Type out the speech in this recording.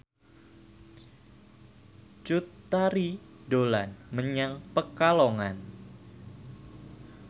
Cut Tari dolan menyang Pekalongan